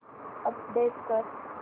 update कर